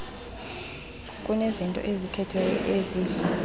kunezinto ezikhethwayo ezidla